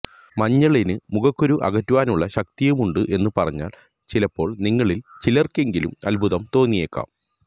മഞ്ഞളിന് മുഖക്കുരു അകറ്റുവാനുള്ള ശക്തിയുമുണ്ട് എന്ന് പറഞ്ഞാൽ ചിലപ്പോൾ നിങ്ങളിൽ ചിലർക്കെങ്കിലും അത്ഭുതം തോന്നിയേക്കാം